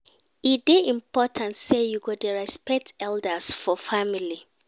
E dey important sey you go dey respect elders for family.